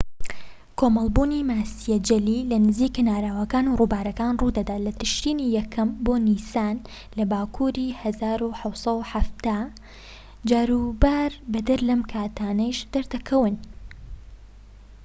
کۆمەلبوونی ماسیە جەلی لەنزیک کەناراوەکان و رووبارەکان روودەدات لە تشرینی یەکەم بۆ نیسان لە باکوری ١٧٧٠. جاروبار بەدەر لەم کاتانەش دەردەکەون